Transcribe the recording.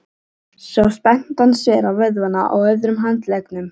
Svo spennti hann svera vöðvana á öðrum handleggnum.